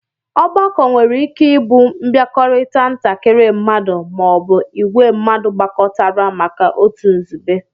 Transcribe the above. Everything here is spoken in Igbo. Ọgbakọ nwere ike ibu nbiakorita ntakiri mmadu ma ọ bụ ìgwé mmadu gbakọtara maka otu nzube